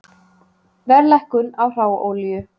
Verðlækkun á hráolíu